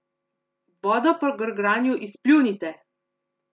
Vodo po grgranju izpljunite!